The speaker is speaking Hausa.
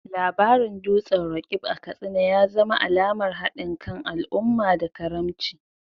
Labarin dutsen Roqeeb a Katsina ya zama alamar hadin kan al’umma da karamci.